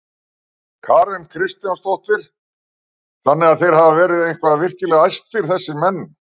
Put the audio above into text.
Karen Kjartansdóttir: Þannig að þeir hafa verið eitthvað virkilega æstir þessir menn?